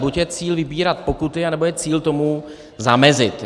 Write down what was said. Buď je cíl vybírat pokuty, nebo je cíl tomu zamezit.